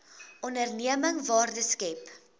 onderneming waarde skep